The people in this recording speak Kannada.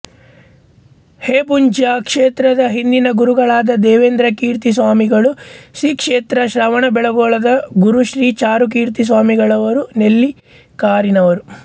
ಹೊಂಬುಜ ಕ್ಷೇತ್ರದ ಹಿಂದಿನ ಗುರುಗಳಾದ ದೇವೇಂದ್ರಕೀರ್ತಿ ಸ್ವಾಮಿಗಳು ಶ್ರೀ ಕ್ಷೇತ್ರ ಶ್ರವಣಬೆಳ್ಗೊಳದ ಗುರು ಶ್ರೀ ಚಾರುಕೀರ್ತಿ ಸ್ವಾಮಿಗಳವರು ನೆಲ್ಲಿಕಾರಿನವರು